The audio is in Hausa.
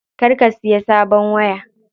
Kar ka siya sabon waya.